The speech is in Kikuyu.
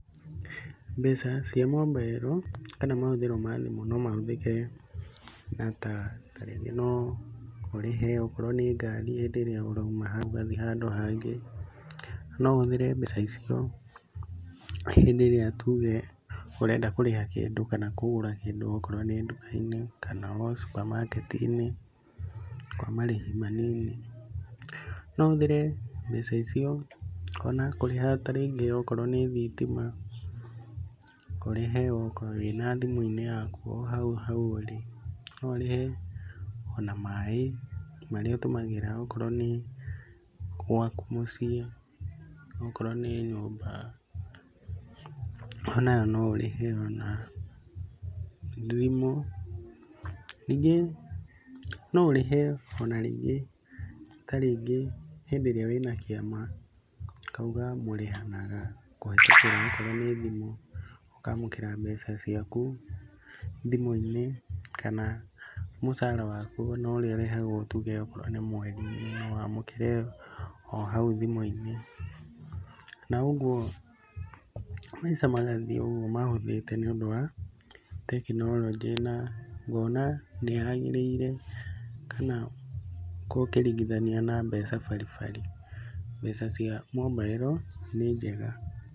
Mbeca cia mombairo kana mahũthĩro mathimũ no mahũthĩke na ta rĩngĩ no ũrĩhe okorwo nĩ ngari rĩrĩa ũrauma haũ ũgathiĩ handũ hangĩ. No ũhũthĩre mbeca icio hĩndĩ ĩriĩa tuge ũrenda kũrĩha kĩndũ kana kũgũra kĩndũ okorwo nĩ nduka-inĩ kana o supermarket-nĩ kwa marĩhi manini. No ũhũthĩre mbeca icio ona kũrĩha ta rĩngĩ okorwo nĩ thitima ũrĩhe wĩna thimũ-inĩ yaku wĩ hau ũrĩ. No ũrihe ona maĩ marĩa ũtũmagĩra onokorwo nĩ gwaku mũciĩ, okorwo nĩ nyũmba onayo no ũrĩhe ona thimũ. Ningĩ no ũrĩhe ona rĩngĩ, ta rĩngĩ hĩndĩ ĩrĩa wĩna kĩama ũkauga mũrĩhanaga kũhetũkĩra okorwo nĩ thimũ ũkamũkĩra mbeca ciaku thimũ-inĩ kana mũcara waku ũrĩa ũrĩhagwo tuge okorwo nĩ mweri no wamũkĩre o hau thimĩ-inĩ, na ũguo maica magathiĩ o ũguo mahũthĩte nĩ ũndũ wa tekinoronjĩ ,na ngona nĩ yagĩrĩire kana ũkĩringiithania na mbeca bari bari. Mbeca cia mobiro nĩ njega.